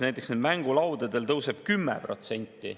Näiteks mängulaudadel tõuseb 10%.